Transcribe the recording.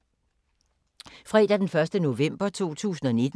Fredag d. 1. november 2019